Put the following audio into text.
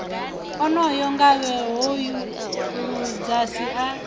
onoyo ngavhe hoyu ludzhasi a